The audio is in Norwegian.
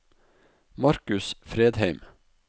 Markus Fredheim